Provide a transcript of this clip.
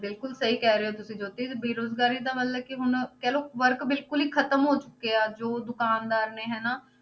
ਬਿਲਕੁਲ ਸਹੀ ਕਹਿ ਰਹੇ ਹੋ ਤੁਸੀਂ ਜੋਤੀ ਤੇ ਬੇਰੁਜ਼ਗਾਰੀ ਤਾਂ ਮਤਲਬ ਕਿ ਹੁਣ ਕਹਿ ਲਓ work ਬਿਲਕੁਲ ਹੀ ਖ਼ਤਮ ਹੋ ਚੁੱਕਿਆ ਜੋ ਦੁਕਾਨਦਾਰ ਨੇ ਹਨਾ,